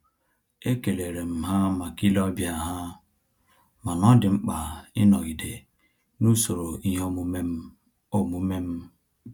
E kelerem ha maka ile ọbịa ha, mana ọ dị mkpa ịnọgide na-usoro ihe omume m omume m